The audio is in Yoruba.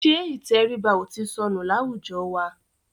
Ṣẹ́ ìtẹríba ò ti sọnù láwùjọ wa?